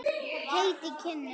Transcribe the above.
Heit í kinnum.